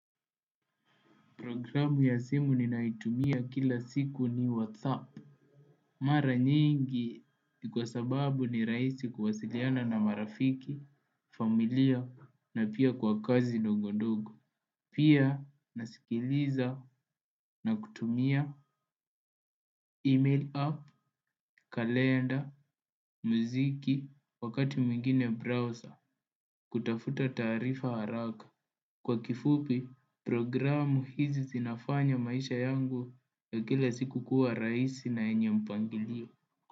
Programu ya simu ninaitumia kila siku ni whatsapp. Mara nyingi ni kwa sababu ni rahisi kuwasiliana na marafiki, familia na pia kwa kazi ndogondogo. Pia nasikiliza na kutumia email app, kalenda, muziki, wakati mwingine browser, kutafuta taarifa haraka. Kwa kifupi, programu hizi zinafanya maisha yangu ya kila siku kuwa rahisi na yenye mpangilio.